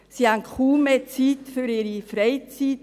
Sie haben kaum mehr Zeit für ihre Hobbies.